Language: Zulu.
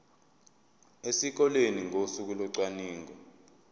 esikoleni ngosuku locwaningo